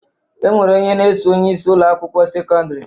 E nwere onye na-eso onyeisi Ụlọ akwụkwọ sekọndrị